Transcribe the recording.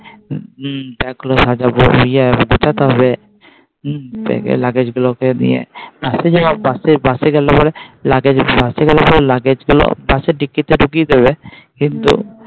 হু Bag গুলো সাজাবো ইএ গোছাতে হবে নিয়ে লগেজ গুলোকে নিয়ে Bus যাবে Bus গেলে পরে লগেজ গুলো Bus ডিকিতে ঢুকিয়ে দেবে কিন্তু.